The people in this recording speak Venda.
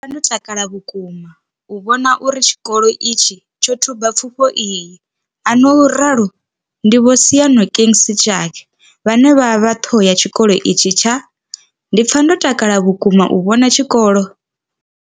Ndi pfa ndo takala vhukuma u vhona uri tshikolo itshi tsho thuba pfufho iyi, a no ralo ndi Vho Seyanokeng Sejake vhane vha vha ṱhoho ya tshikolo itshi tsha. Ndi pfa ndo takala vhukuma u vhona tshikolo.